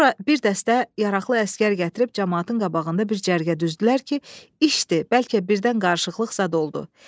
Sonra bir dəstə yaraqlı əsgər gətirib camaatın qabağında bir cərgə düzdülər ki, işdir, bəlkə birdən qarışıqlıq zad oldu.